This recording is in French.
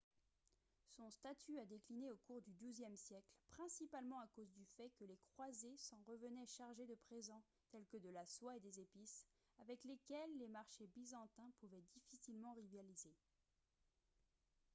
son statut a décliné au cours du douzième siècle principalement à cause du fait que les croisés s'en revenaient chargés de présents tels que de la soie et des épices avec lesquels les marchés byzantins pouvaient difficilement rivaliser